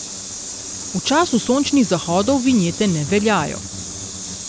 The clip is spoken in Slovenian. V času sončnih zahodov vinjete ne veljajo.